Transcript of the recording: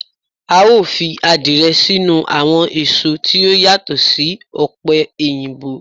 Ao fi adiye sinu awon eso ti o yato si ope oyinbo